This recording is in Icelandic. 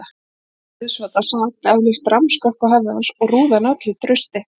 Húfan rauðsvarta sat eflaust rammskökk á höfði hans og rúði hann öllu trausti.